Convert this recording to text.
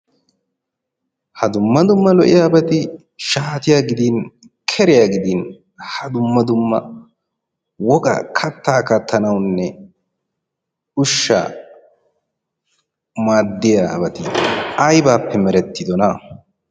ha dumma dumma lo''iyaabati shaatiya gidin keriyaa gidin ha dumma dumma woga kattaa kattanawunne ushsha maaddiyaabati aybaappe merettidona